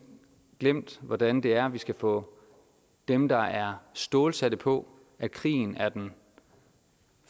glemt hvordan det er at vi skal få dem der er stålsatte på at krigen er den